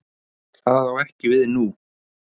Það á ekki við nú.